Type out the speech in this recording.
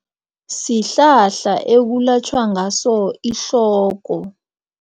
Sihlahla ekulatjhwa ngaso ihloko.